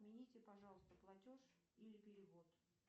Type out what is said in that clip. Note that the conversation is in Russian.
отмените пожалуйста платеж или перевод